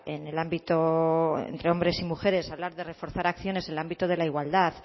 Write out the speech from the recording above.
en el ámbito entre hombres y mujeres hablar de reforzar acciones en el ámbito de la igualdad